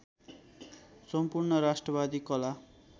सम्पूर्ण राष्ट्रवादी कला